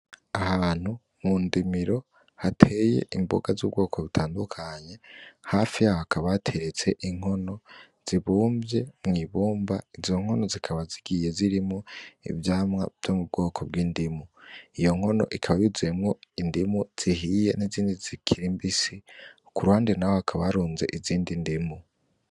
Ahantu mu ndimiro hateye imboga zubwoko butandukanye hafi yaho hakaba hateretse inkono zibumvye mwibumba ,izo nkono zikaba zigiye zirimwo ivyamwa vyubwoko bw'indimu, iyo nkono ikaba yuzuyemwo indimu zihiye izindi zikiri mbisi kuruhande hakaba haruzemwo izindi ndimu